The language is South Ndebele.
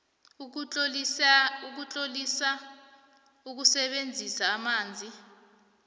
ukutlolisela ukusebenzisa amanzi